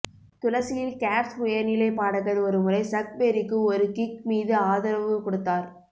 துளசியில் Gates உயர்நிலைப் பாடகர் ஒருமுறை சக் பெர்ரிக்கு ஒரு கிக் மீது ஆதரவு கொடுத்தார்